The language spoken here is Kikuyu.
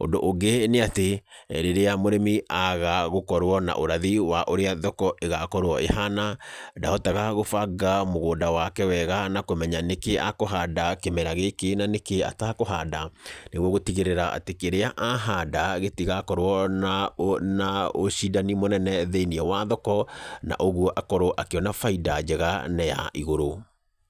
Ũndũ ũngĩ nĩatĩ, rĩrĩa mũrĩmi aga gũkorwo na ũrathi wa ũrĩa thoko ĩgakorwo ĩhana ndahotaga gũbanga mũgũnda wake wega na kũmenya nĩkĩĩ akũhanda kĩmera gĩkĩ na nĩkĩĩ atakũhanda, nĩguo gũtigĩrĩra atĩ kĩrĩa ahanda gĩtigakorwo na na ũcindani mũnene thĩiniĩ wa thoko na ũguo akorwo akĩona bainda njega na ya igũrũ.